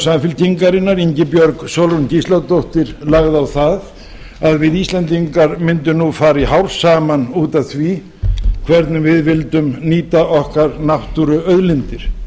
samfylkingarinnar ingibjörg sólrún gísladóttir lagði á það að við íslendingar myndum nú fara í hár saman út f því hvernig við vildum nýta okkar náttúruauðlindir